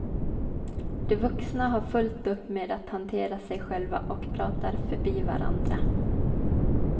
De vuxna har fullt upp med att hantera sig själva och pratar förbi varandra.